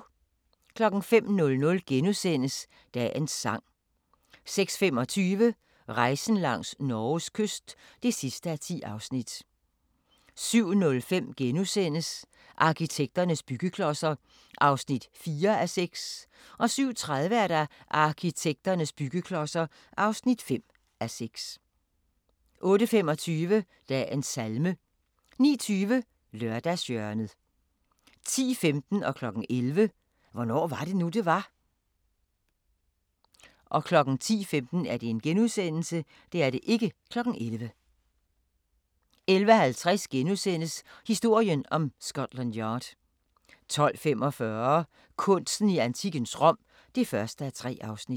05:00: Dagens sang * 06:25: Rejsen langs Norges kyst (10:10) 07:05: Arkitekternes byggeklodser (4:6)* 07:30: Arkitekternes byggeklodser (5:6) 08:25: Dagens salme 09:20: Lørdagshjørnet 10:15: Hvornår var det nu, det var? * 11:00: Hvornår var det nu, det var? 11:50: Historien om Scotland Yard * 12:45: Kunsten i antikkens Rom (1:3)